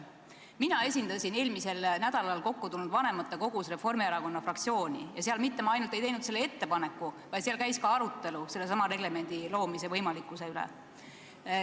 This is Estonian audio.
Mina esindasin eelmisel nädalal kokku tulnud vanematekogus Reformierakonna fraktsiooni ja seal ma mitte ainult ei teinud selle ettepaneku, vaid seal käis ka arutelu regelemendi koostamise võimalikkuse üle.